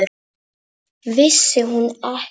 Vissi hún ekki!